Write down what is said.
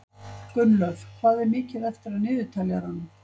Gunnlöð, hvað er mikið eftir af niðurteljaranum?